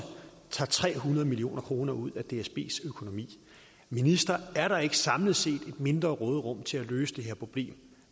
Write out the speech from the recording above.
tager tre hundrede million kroner ud af dsbs økonomi minister er der ikke samlet set et mindre råderum til at løse det her problem